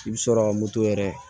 I bɛ sɔrɔ ka moto yɛrɛ